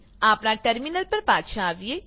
આપણા ટર્મીનલ પર પાછા આવીએ